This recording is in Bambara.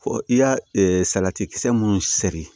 Fɔ i ka salati kisɛ mun siri